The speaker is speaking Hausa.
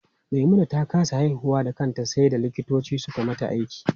Maimuna ta kasa haihuwa da kanta sai da likitoci suka mata aiki.